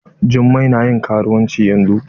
jummai na ƴin karuwanci yanzun